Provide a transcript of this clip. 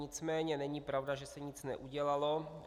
Nicméně není pravda, že se nic neudělalo.